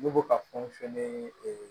Ne bɛ ka fɛnw fɛnɛ